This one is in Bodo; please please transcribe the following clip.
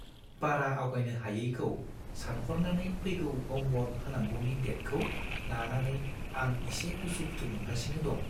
बारा आवगायनो हायैखौ सानहरनानै फैगौ ह'मवर्क होनांगौनि डेटखौ लानानै आं इसे उसु-खुथु मोनगासिनो दं।